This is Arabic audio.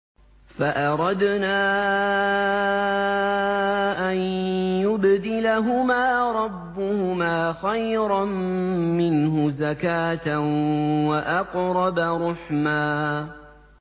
فَأَرَدْنَا أَن يُبْدِلَهُمَا رَبُّهُمَا خَيْرًا مِّنْهُ زَكَاةً وَأَقْرَبَ رُحْمًا